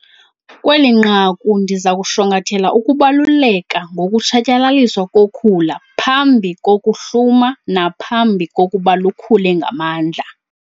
Kweli nqaku ndiza kushwankathela ukubaluleka ngokutshatyalaliswa kokhula phambi kokuhluma naphambi kokuba lukhule ngamandla.